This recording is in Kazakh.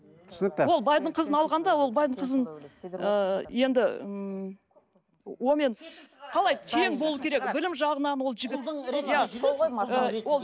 түсінікті ол байдың қызын алғанда ол байдың қызын ыыы енді ммм онымен қалай тең болуы керек білім жағынан ол жігіт